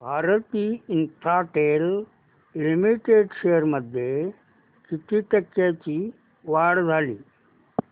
Bharti Infratel Limited shares मध्ये किती टक्क्यांची वाढ झाली